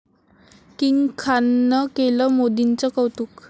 king खाननं केलं मोदींचं कौतुक